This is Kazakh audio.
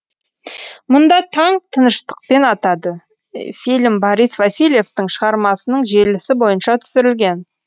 мұнда таң тыныштықпен атады фильм борис васильевтың шағармасының желісі бойынша түсірілген